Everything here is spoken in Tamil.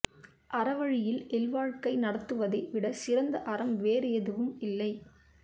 அற வழியில் இல் வாழ்க்கை நடத்துவதை விட சிறந்த அறம் வேறு எதுவும் இல்லை